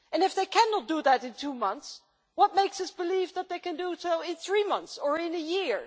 And if they cannot do that in two months, what makes us believe they can do it in three months or in a year?